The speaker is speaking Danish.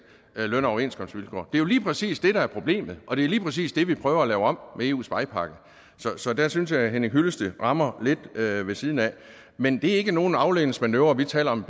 løn og overenskomstvilkår det er lige præcis det der er problemet og det er lige præcis det vi prøver at lave om med eus vejpakke så der synes jeg herre henning hyllested rammer lidt ved ved siden af men det er ikke nogen afledningsmanøvre at vi taler om